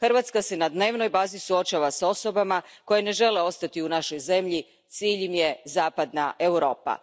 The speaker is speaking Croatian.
Hrvatska se na dnevnoj bazi suočava s osobama koje ne žele ostati u našoj zemlji, cilj im je zapadna Europa.